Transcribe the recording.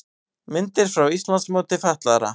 Myndir frá Íslandsmóti fatlaðra